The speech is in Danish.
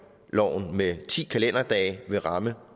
med ti kalenderdage vil ramme